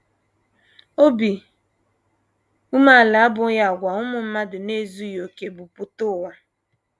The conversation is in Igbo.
Obi umeala abụghị àgwà ụmụ mmadụ na - ezughị okè bu pụta ụwa.